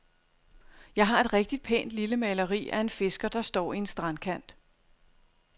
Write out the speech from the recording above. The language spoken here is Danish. Jeg har et rigtigt pænt lille maleri af en fisker, der står i en strandkant.